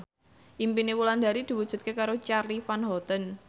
impine Wulandari diwujudke karo Charly Van Houten